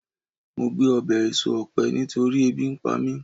mo gbe obe eso òpe nitori ebi npa mi